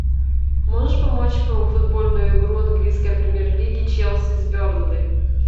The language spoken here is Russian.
можешь помочь по футбольную игру английской премьер лиги челси с бернли